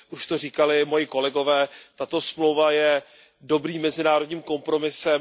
Už to říkali moji kolegové, tato smlouva je dobrým mezinárodním kompromisem.